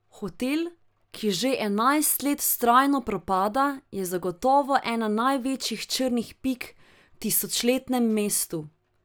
Hotel, ki že enajst let vztrajno propada, je zagotovo ena največjih črnih pik v tisočletnem mestu.